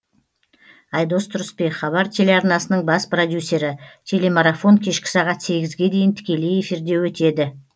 айдос тұрысбек хабар телеарнасының бас продюсері телемарафон кешкі сағат сегізге дейін тікелей эфирде өтеді